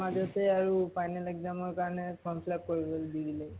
মাজতে আৰু final exam ৰ কাৰণে form fill-up কৰিবলৈ দি দিলে।